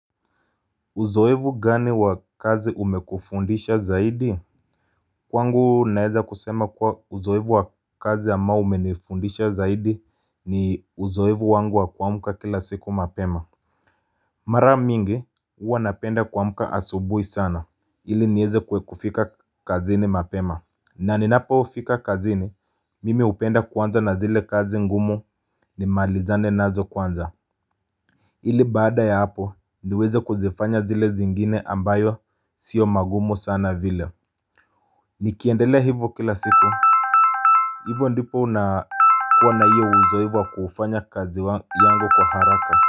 Uzoefu gani wa kazi umekufundisha zaidi? Kwangu naweza kusema kuwa uzoefu wa kazi ama umenifundisha zaidi ni uzoefu wangu wa kumka kila siku mapema Mara mingi huwa napenda kumka asubuhi sana ili niweze kufika kazini mapema. Na ninapo fika kazini, mimi hupenda kuanza na zile kazi ngumu nimalizane nazo kwanza ili baada ya hapo niweze kuzifanya zile zingine ambazo sio magumu sana vile. Nikiendele hivyo kila siku. Hivo ndipo unakuwa na hiyo uzoefu wa kufanya kazi yangu kwa haraka.